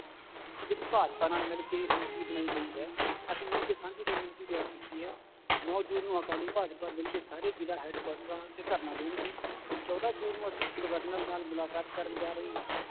ਤੇ ਜਿਹੜੀ ਭਾਜਪਾ ਨਾਲ ਮਿਲਕੇ ਇਹ ਬਣਾਈ ਗਈ ਹੈ ਅਸੀਂ ਮਿਲ ਕੇ ਸਾਂਝੀ ਰਣਨੀਤੀ ਤਿਆਰ ਕੀਤੀ ਹੈ, ਨੋਂ ਜੂਨ ਨੂੰ ਅਕਾਲੀ ਭਾਜਪਾ ਮਿਲਕੇ ਸਾਰੇ ਜ਼ਿਲ੍ਹਾ ਹੈਡਕੁਆਟਰਾਂ ਤੇ ਧਰਨਾ ਦੇਣਗੇ ਚੌਦਾਂ ਜੂਨ ਨੂੰ ਅਸੀਂ governor ਨਾਲ ਮੁਲਾਕਾਤ ਕਰਨ ਜਾ ਰਹੇ ਹਾਂ